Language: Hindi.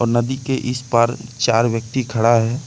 नदी के इस पार चार व्यक्ति खड़ा है।